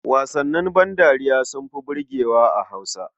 Wasannin bandariya sun fi burgewa a Hausa.